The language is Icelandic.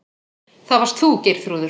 Það varst þú, Geirþrúður.